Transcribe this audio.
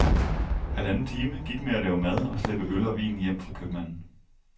Halvanden time gik med at lave mad og slæbe øl og vin hjem fra købmanden.